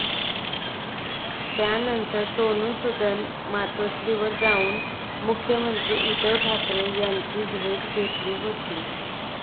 त्यानंतर सोनु सूदनं मातोश्रीवर जाऊन मुख्यमंत्री उद्धव ठाकरे यांची भेट घेतली होती.